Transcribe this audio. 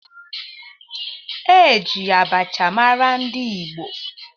E ji abacha mara ndị Igbo